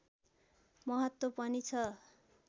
महत्त्व पनि छ